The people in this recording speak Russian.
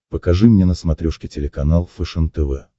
покажи мне на смотрешке телеканал фэшен тв